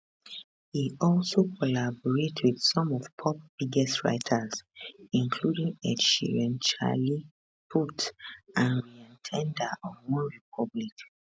e also collaborate with some of pop biggest writers including ed sheeran charlie puth and ryan tedder of onerepublic